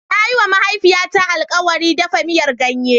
Na yi wa mahaifiyata alkawari ɗafa miyar ganye.